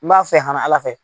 N b'a fɛ hana Ala fɛ.